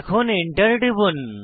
এখন Enter টিপুন